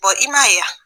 i man ye yan